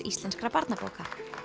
íslenskra barnabóka